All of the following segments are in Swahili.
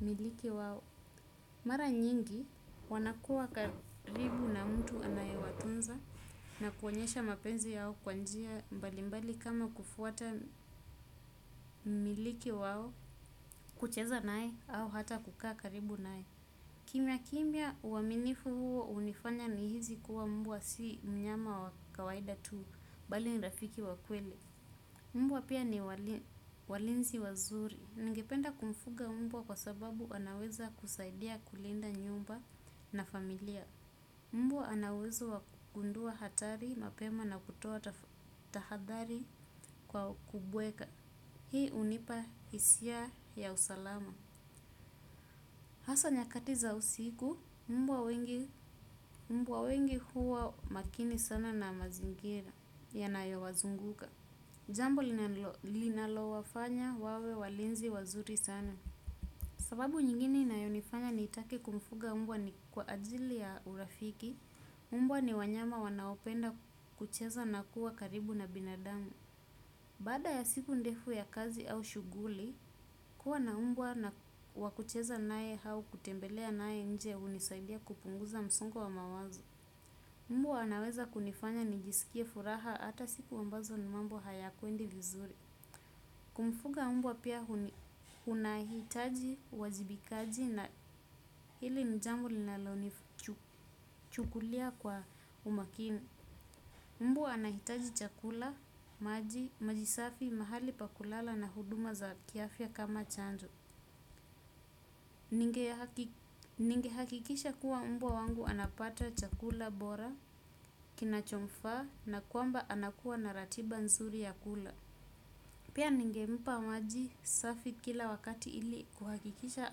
wamiliki wao. Mara nyingi, wanakuwa karibu na mtu anayewatunza na kuonyesha mapenzi yao kwa njia mbali mbali kama kufuata miliki wao kucheza naye au hata kukaa karibu naye. Kimya kimya uaminifu huo unifanya ni hizi kuwa mbwa si mnyama wa kawaida tu bali ni rafiki wa kweli. Mbwa pia ni walinzi wazuri. Ningependa kumfuga mbwa kwa sababu anaweza kusaidia kulinda nyumba na familia. Mbwa ana uwezo wa kugundua hatari mapema na kutoa tahadhari kwa kubweka. Hii unipa hisia ya usalama. Hasa nyakati za usiku, mbwa wengi huwa makini sana na mazingira yanayo wazunguka. Jambo linalo wafanya wawe walinzi wazuri sana. Sababu nyingine inayonifanya nitake kumfuga mbwa ni kwa ajili ya urafiki, mbwa ni wanyama wanaopenda kucheza na kuwa karibu na binadamu. Baada ya siku ndefu ya kazi au shughuli, kuwa na mbwa wa kucheza naye au kutembelea naye nje unisaidia kupunguza msongo wa mawazo. Mbwa anaweza kunifanya nijisikie furaha ata siku ambazo ni mambo hayakwendi vizuri. Kumfuga mbwa pia unahitaji wajibikaji na ili ni jambo linalonifu chukulia kwa umakini. Mbwa anahitaji chakula, maji, maji safi, mahali pa kulala na huduma za kiafya kama chandu. Ningehakikisha kuwa mbwa wangu anapata chakula bora kinachomfaa na kwamba anakua na ratiba nzuri ya kula. Pia ningempa maji safi kila wakati ili kuhakikisha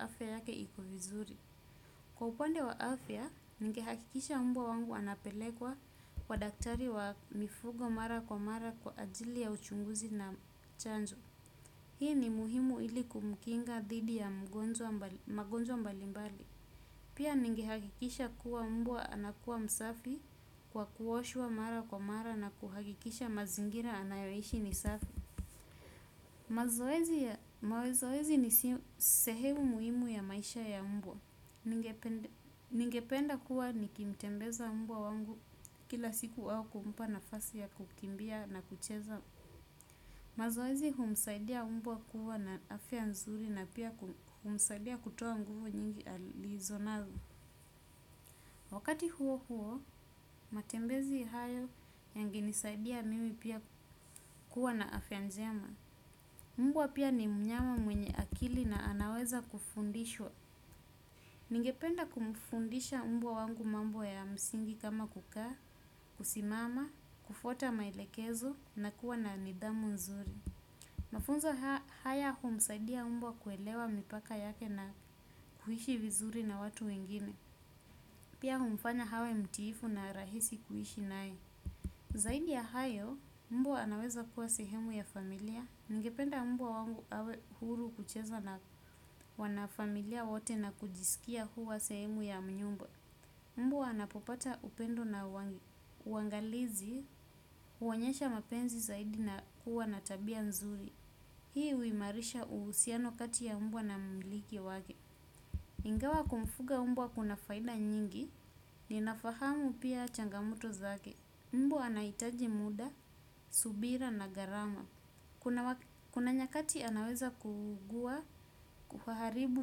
afya yake iko vizuri. Kwa upande wa afya, ningehakikisha mbwa wangu anapelekwa kwa daktari wa mifugo mara kwa mara kwa ajili ya uchunguzi na chanzo. Hii ni muhimu ili kumkinga dhidi ya magonjwa mbali mbali. Pia ningehakikisha kuwa mbwa anakuwa msafi kwa kuoshwa mara kwa mara na kuhakikisha mazingira anayoishi ni safi. Mazoezi ni sehemu muhimu ya maisha ya mbwa. Ningependa kuwa nikimtembeza mbwa wangu kila siku au kumpa nafasi ya kukimbia na kucheza. Mazoezi umsaidia mbwa kuwa na afya nzuri na pia umsaidia kutoa nguvu nyingi alizonazo. Wakati huo huo, matembezi hayo yange nisaidia mimi pia kuwa na afya njema. Mbwa pia ni mnyama mwenye akili na anaweza kufundishwa. Ningependa kumfundisha mbwa wangu mambo ya msingi kama kukaa, kusimama, kufuata maelekezo na kuwa na nidhamu nzuri. Mafunzo haya humsaidia mbwa kuelewa mipaka yake na kuishi vizuri na watu wengine. Pia umfanya awe mtiifu na rahisi kuishi naye. Zaidi ya hayo, mbwa anaweza kuwa sehemu ya familia. Ningependa mbwa wangu awe huru kucheza na wanafamilia wote na kujisikia kuwa sehemu ya mnyumbo. Mbwa anapopata upendo na uangalizi, uonyesha mapenzi zaidi na kuwa na tabia nzuri. Hii uimarisha uhusiano kati ya mbwa na mmiliki wake. Ingawa kumfuga mbwa kuna faida nyingi ninafahamu pia changamoto zake. Mbwa anaitaji muda, subira na garama. Kuna nyakati anaweza kuugua kuharibu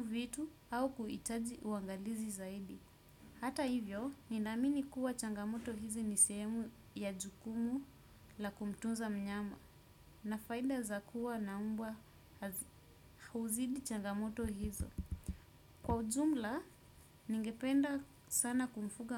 vitu au kuitaji uangalizi zaidi. Hata hivyo, ninaamini kuwa changamoto hizi ni sehemu ya jukumu la kumtunza mnyama na faida za kuwa na mbwa huzidi changamoto hizo. Kwa ujumla, ningependa sana kumfuga.